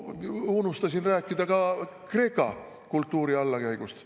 Unustasin rääkida ka Kreeka kultuuri allakäigust.